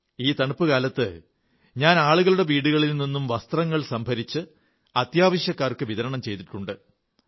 ഈ തണുപ്പുകാലത്ത് ഞാൻ ആളുകളുടെ വീടുകളിൽ നിന്നും വസ്ത്രങ്ങൾ സംഭരിച്ച് അത്യാവശ്യക്കാർക്ക് വിതരണം ചെയ്തിട്ടുണ്ട്